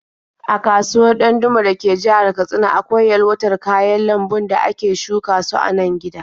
A kasuwar Ɗandume da ke jihar Katsina akwai yalwatar kayan lambun da ale shuka su a nan gida.